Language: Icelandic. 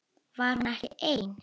Var hún ekki ein?